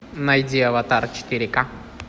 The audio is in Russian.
найди аватар четыре ка